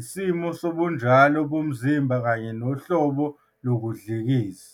isimo sobunjalo bomzimba kanye nohlobo lokudlikiza.